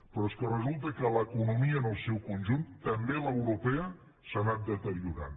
però és que resulta que l’economia en el seu conjunt també l’europea s’ha anat deteriorant